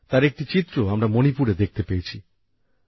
তার একটি চিত্র আমরা মণিপুরে দেখতে পেয়েছি